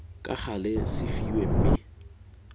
ka gale se fiwe mme